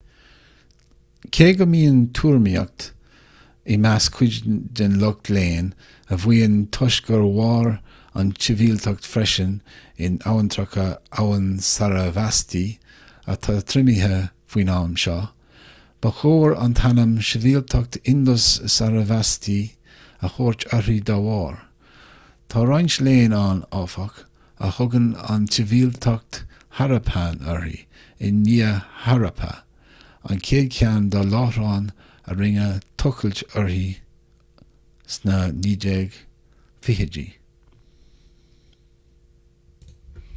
cé go mbíonn tuairimíocht i measc cuid den lucht léinn a mhaíonn toisc gur mhair an tsibhialtacht freisin in abhantracha abhainn sarasvati atá triomaithe faoin am seo ba chóir an t-ainm sibhialtacht indus-sarasvati a thabhairt uirthi dá bharr tá roinnt léinn ann áfach a thugann an tsibhialtacht harappan uirthi i ndiaidh harappa an chéad cheann dá láithreáin a rinneadh tochailt orthu sna 1920idí